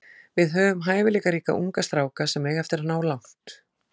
Við höfum hæfileikaríka unga stráka sem eiga eftir að ná langt.